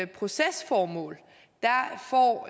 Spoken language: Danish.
procesformål